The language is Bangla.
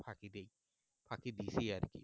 ফাঁকি দেই ফাঁকি দিছি আর কি